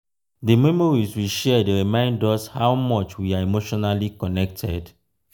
di memories we share dey remind us how much we are emotionally connected.